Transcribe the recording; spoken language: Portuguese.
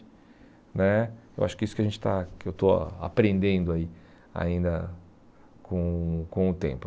né Eu acho que é isso que a gente está que eu estou aprendendo aí ainda com o com o tempo.